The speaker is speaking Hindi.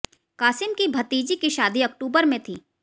कासिम की भतीजी की शादी अक्टूबर में थी